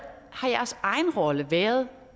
jeres egen rolle har været